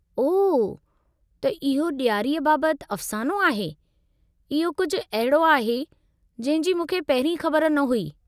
ओह त इहो ॾियारीअ बाबतु अफ़सानो आहे। इहो कुझु अहिड़ो आहे जंहिं जी मूंखे पहिरीं ख़बर न हुई।